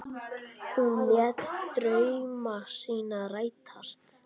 Hún lét drauma sína rætast.